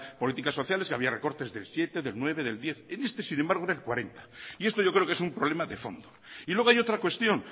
políticas sociales que había recorte del siete del nueve del diez en este sin embargo era el cuarenta y esto yo creo que es un problema de fondo y luego hay otra cuestión